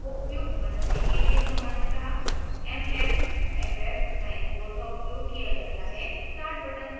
छोटे कार्बनिक अणुओं को उपयुक्त बनाने के लिए सामान्यतः mmff94 का उपयोग किया जाता है